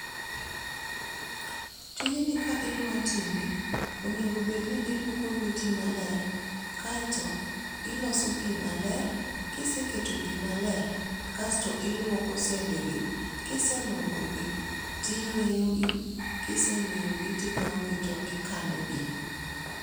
Tijni ka idwa time onego bedni iluoko lweto maler kaeto iloso pii maler .Kiseketo pii maler kasto ilwoko sende gi kiselwoko gi tiyweyo gi ,kiseyweyo gi tikawo gi tikano gi.